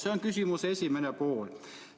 See on küsimuse esimene pool.